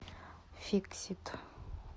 фиксит